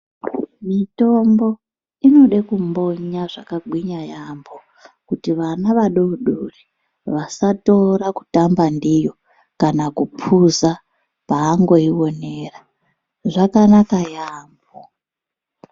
Mitombo inode kundonya zvakagwinya yaambo kuti vana vadodori vasatora kutamba ndiyo kana kupuza paangoionera zvakanaka yaambo.